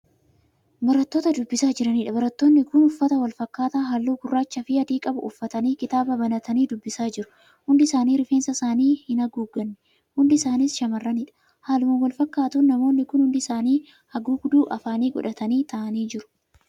Barattoota dubbisaa jiraniidha. barattoonni Kuni uffata walfakkaataa, halluu gurrachaafi adii qabu uffatanii, kitaaba banatanii dubbisaa jiru. hundi isaanii rifeensa isaanii hin haguugganne hundi isaanis shamarraniidha. haaluma walfakkatuun namoonni Kun hundi isaanii haguugduu afaanii godhatanii taa'an jiru.